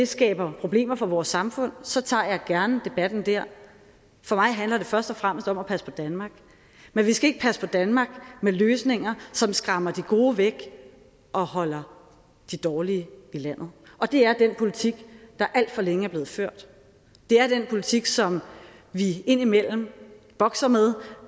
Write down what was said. skaber problemer for vores samfund så tager jeg gerne debatten der for mig handler det først og fremmest om at passe på danmark men vi skal ikke passe på danmark med løsninger som skræmmer de gode væk og holder de dårlige i landet og det er den politik der alt for længe er blevet ført det er den politik som vi indimellem bokser med